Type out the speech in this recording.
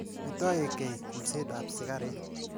Metoe kei kulset ap sikaret.